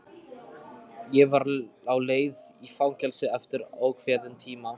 Ég var á leið í fangelsi eftir óákveðinn tíma.